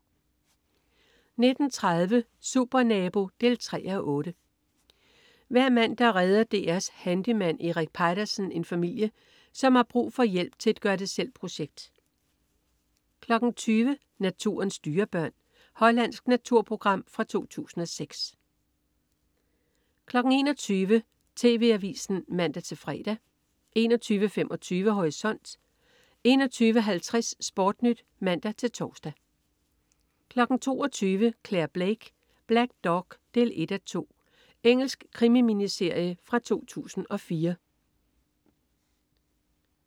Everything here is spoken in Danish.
19.30 Supernabo 3:8. Hver mandag redder DR's handyman Erik Peitersen en familie, som har brug for hjælp til et gør det selv-projekt 20.00 Naturens dyrebørn. Hollandsk naturprogram fra 2006 21.00 TV Avisen (man-fre) 21.25 Horisont 21.50 SportNyt (man-tors) 22.00 Clare Blake: Black Dog 1:2. Engelsk krimi-miniserie fra 2004